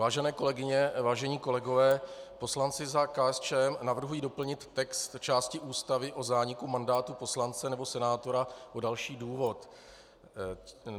Vážené kolegyně, vážení kolegové, poslanci za KSČM navrhují doplnit text části Ústavy o zániku mandátu poslance nebo senátora o další důvod.